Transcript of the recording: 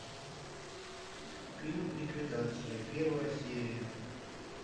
фильм ликвидация первая серия